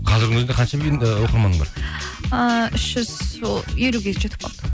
қазірдің өзінде қанша ііі оқырманың бар ыыы үш жүз елуге жетіп қалды